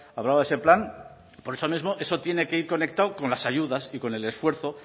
hablaba ese plan por eso mismo eso tiene que ir conectado con las ayudas y con el esfuerzo